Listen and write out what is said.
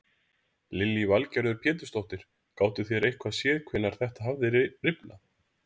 Lillý Valgerður Pétursdóttir: Gátu þeir eitthvað séð hvenær þetta hafði rifnað?